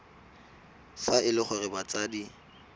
fa e le gore batsadi